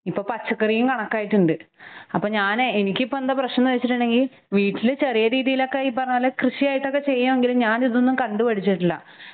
ഇപ്പ പച്ചക്കറിയും കണക്കായിട്ടുണ്ട്. ഹ് അപ്പൊ ഞാനെ എനിക്കിപ്പെന്താ പ്രശ്നോന്ന് വെച്ചിട്ടുണ്ടെങ്കിൽ വീട്ടില് ചെറിയരീതിയിലൊക്കെ ഈ പറഞ്ഞപോലെ കൃഷിയായിട്ടൊക്കെ ചെയ്യാങ്കിലും ഞാനിതൊന്നും കണ്ടുപഠിച്ചിട്ടില്ല.